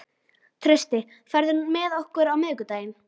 Trausti, ferð þú með okkur á miðvikudaginn?